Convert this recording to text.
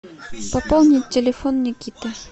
пополнить телефон никиты